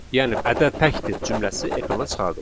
Yəni ədəd təkdir cümləsi ekrana çıxarılır.